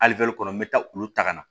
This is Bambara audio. Ali kɔnɔ n bɛ taa olu ta ka na